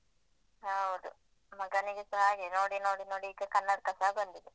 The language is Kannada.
ಹೌದು ಮಗನಿಗೆಸ ಹಾಗೇ ನೋಡಿ ನೋಡಿ ನೋಡಿ ಈಗ ಕನಡ್ಕಸ ಬಂದಿದೆ.